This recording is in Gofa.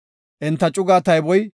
Enta cugaa tayboy 53,400